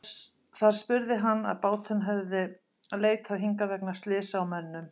Þar spurði hann, að báturinn hefði leitað hingað vegna slysa á mönnum.